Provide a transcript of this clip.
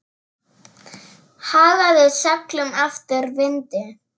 Hagaði seglum eftir vindi.